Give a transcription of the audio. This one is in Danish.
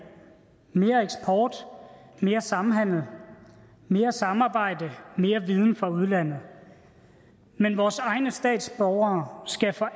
mere eksport mere samhandel mere samarbejde mere viden fra udlandet men vores egne statsborgere skal for